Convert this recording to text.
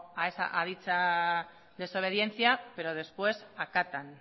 a dicha desobediencia pero después acatan